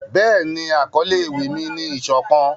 Béèni, akọle ewi mi ni 'isokan'.